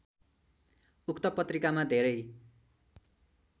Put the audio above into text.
उक्त पत्रिकामा धेरै